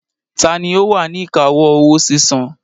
Tani ó wà ní ìkáwọ́ owó sísan?